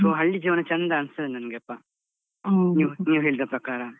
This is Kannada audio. So ಹಳ್ಳಿ ಜೀವನ ಚೆಂದ ಅನ್ಸ್ತದೆ ನನ್ಗೆಪ್ಪ ನೀವ್ ನೀವು ಹೇಳಿದ ಪ್ರಕಾರ.